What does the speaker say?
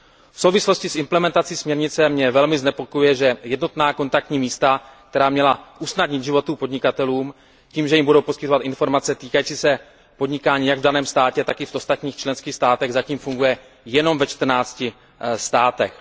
V souvislosti s implementací směrnice mě velmi znepokojuje, že jednotná kontaktní místa, která měla usnadnit život podnikatelům tím, že jim budou poskytovat informace týkající se podnikání jak v daném státě, tak i v ostatních členských státech, zatím fungují jenom ve čtrnácti státech.